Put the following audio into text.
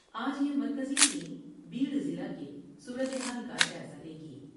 آج یہ مرکزی ٹیم بی ضلع کے صورتحال کاجائزہ لے گی ۔